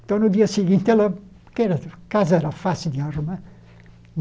Então, no dia seguinte, ela... Porque a casa era fácil de arrumar.